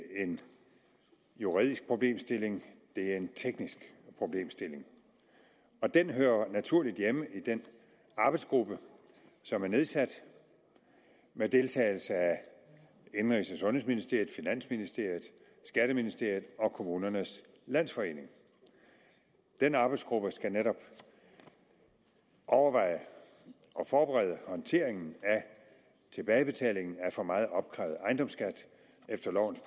en juridisk problemstilling det er en teknisk problemstilling og den hører naturligt hjemme i den arbejdsgruppe som er nedsat med deltagelse af indenrigs og sundhedsministeriet finansministeriet skatteministeriet og kommunernes landsforening den arbejdsgruppe skal netop overveje og forberede håndteringen af tilbagebetalingen af for meget opkrævet ejendomsskat efter lovens